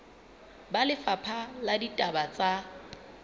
ba lefapha la ditaba tsa